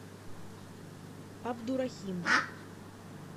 абдурахим